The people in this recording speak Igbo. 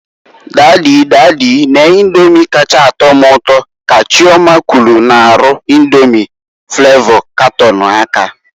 "Dady, dady, nee Indomi kacha a tọ m ụtọ", ka Chioma kwulu n'arụ Indomi flavo katọn aka.